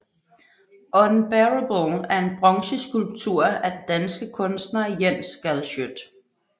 Unbearable er en bronzeskulptur af den danske kunstner Jens Galschiøt